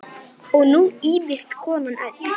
Og nú ýfist konan öll.